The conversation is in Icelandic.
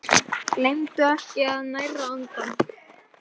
Gleymdu ekki að næra andann!